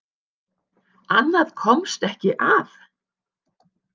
Annað komst ekki að!